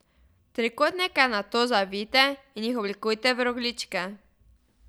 Trikotnike nato zavijte in jih oblikujte v rogljičke.